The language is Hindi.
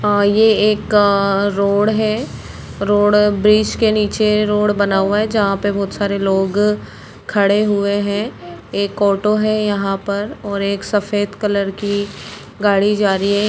आ ये एक आ रोड है रोड ब्रिज के नीचे रोड बना हुआ है जहा पे बहुत सारे लोग खड़े हुए है एक ऑटो है यहां पर और एक सफेद कलर की गाड़ी जा रही है।